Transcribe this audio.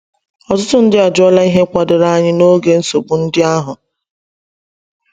Ọtụtụ ndị ajụọla ihe kwadoro anyị n’oge nsogbu ndị ahụ.